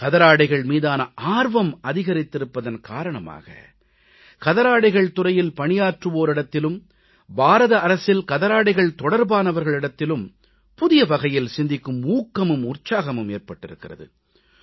கதராடைகள் மீதான ஆர்வம் அதிகரித்திருப்பதன் காரணமாக கதராடைகள் துறையில் பணியாற்றுவோரிடத்திலும் பாரத அரசில் கதராடைகள் தொடர்பானவர்களிடத்திலும் புதிய வகையில் சிந்திக்கும் ஊக்கமும் உற்சாகமும் ஏற்பட்டிருக்கிறது